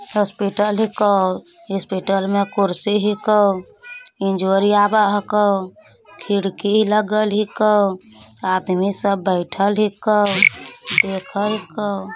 hospital हीको hospital में कुर्सी हीको| इंजोरी आबे हको| खिड़की लागल हीको| आदमी सब बैठएल हीको| देखे हीको--